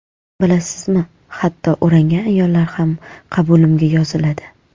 Bilasizmi, hatto o‘rangan ayollar ham qabulimga yoziladi.